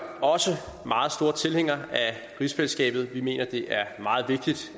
også meget stor tilhænger af rigsfællesskabet vi mener det er meget vigtigt